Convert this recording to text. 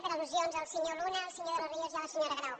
per al·lusions del senyor luna el senyor de los ríos i la senyora grau